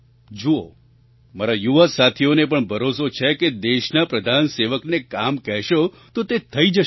જુઓ મારા યુવા સાથીઓને પણ ભરોસો છે કે દેશના પ્રધાનસેવકને કામ કહેશો તો તે થઈ જશે